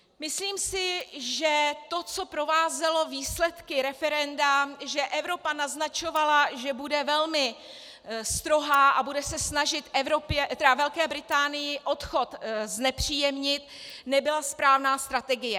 Myslím si, že to, co provázelo výsledky referenda, že Evropa naznačovala, že bude velmi strohá a bude se snažit Velké Británii odchod znepříjemnit, nebyla správná strategie.